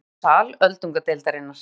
Hér má sjá sal öldungadeildarinnar.